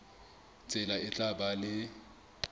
tsela e tla ba le